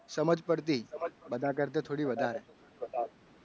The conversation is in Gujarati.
સમજ પડતી બધા કરતાં થોડીક વધારે